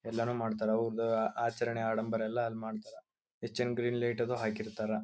ಎಲ್ಲರೂ ಮಾಡ್ತಾರಾ ಒಬ್ಬ ಆಚರಣೆ ಆಡಂಬರ ಅಲ್ ಮಾಡ್ತಾರಾ ಹೆಚ್ಚಿನ್ ಗ್ರೀನ್ ಲೈಟ್ ಅದು ಹಾಕಿರ್ತಾರ.